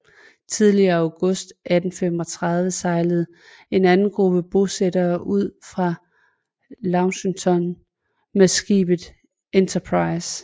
Tidlig i august 1835 sejlede en anden gruppe bosættere ud fra Launceston med skibet Enterprize